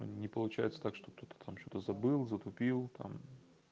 не получается так что кто-то там что-то забыл затупил там